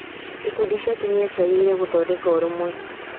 Ikundi cia atumia ciageririe gũthondeka ũrũmwe.